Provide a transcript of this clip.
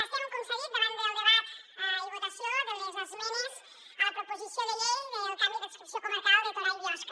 estem com s’ha dit davant del debat i votació de les esmenes a la proposició de llei del canvi d’adscripció comarcal de torà i biosca